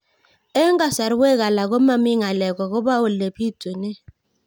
Eng' kasarwek alak ko mami ng'alek akopo ole pitunee